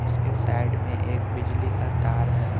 इसके साइड में एक बिजली का तार है।